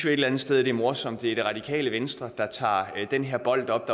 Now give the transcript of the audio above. eller andet sted at det er morsomt at det er det radikale venstre der tager den her bold op